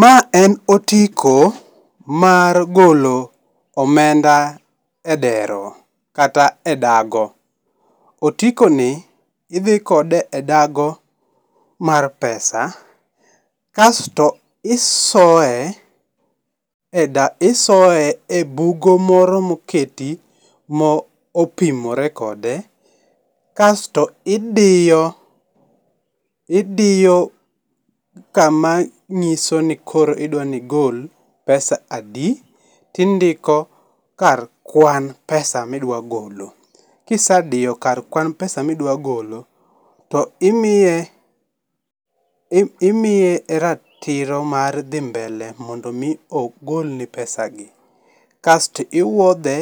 Ma en otiko mar golo omenda e dero kata e dago. Otikoni idhi kode e dago mar pesa, kasto isoye e isoye e bugo moro moketi mo opimore kode, kasto idiyo, idiyo kama ng'iso ni koro idwa ni igol pesa adi, tindiko kar kwan pesa midwa golo. Kisediyo kar kwan pesa midwa golo, to imiye, imiye ratiro mar dhi mbele, mondo mi ogolni pesagi, kasto iwuodhe